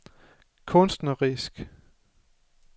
kunstnerisk